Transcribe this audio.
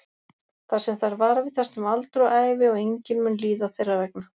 Þar sem þær varðveitast um aldur og ævi og enginn mun líða þeirra vegna.